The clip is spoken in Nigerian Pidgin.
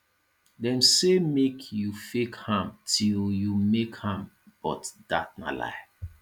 dem say make you fake am till you make am but dat na lie